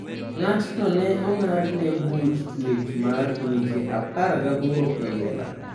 Ng'atno ne ong'adne buch tuech mar dweche 18 e jela .